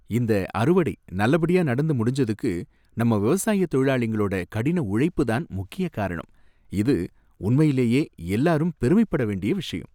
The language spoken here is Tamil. இந்த அறுவடை நல்லபடியா நடந்து முடிஞ்சதுக்கு நம்ம விவசாய தொழிலாளிங்களோட கடின உழைப்பு தான் முக்கிய காரணம், இது உண்மையிலேயே எல்லாரும் பெருமைப் பட வேண்டிய விஷயம்.